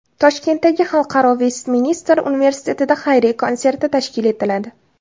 Toshkentdagi Xalqaro Vestminster universitetida xayriya konserti tashkil etiladi.